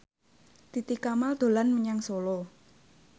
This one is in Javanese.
Titi Kamal dolan menyang Solo